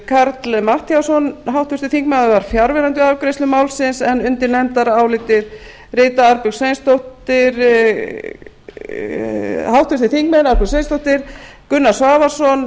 karl fimmti matthíasson háttvirtur þingmaður var fjarverandi við afgreiðslu málsins en undir nefndarálitið rita háttvirtir þingmenn arnbjörg sveinsdóttir gunnar svavarsson